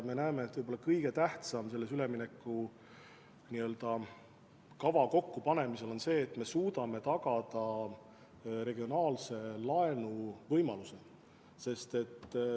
Meie arvates on võib-olla kõige tähtsam üleminekukava kokkupanemisel see, et me suudame tagada regionaalse laenu võimaluse.